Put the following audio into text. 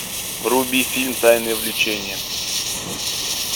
вруби фильм тайное влечение